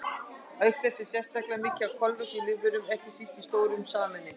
Auk þess er sérstaklega mikið af kolefni í lífverum, ekki síst í þessum stóru sameindum.